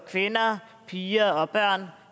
kvinder piger og børn